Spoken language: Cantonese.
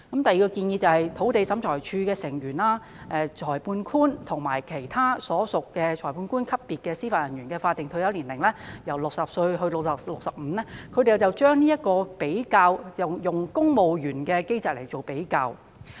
第二項建議是將土地審裁處成員、裁判官及其他屬裁判官級別的司法人員的法定退休年齡，由60歲提高至65歲，這是與公務員的機制作比較後得出。